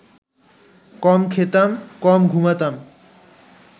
কম খেতাম, কম ঘুমাতাম